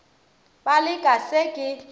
be le ka se ke